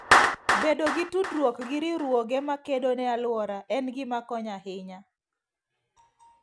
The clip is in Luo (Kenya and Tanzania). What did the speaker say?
Bedo gi tudruok gi riwruoge makedo ne alwora en gima konyo ahinya.